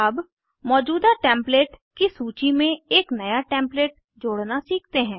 अब मौजूदा टेम्पलेट की सूची में एक नया टेम्पलेट जोड़ना सीखते हैं